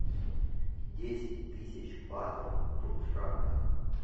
десять тысяч батов в франках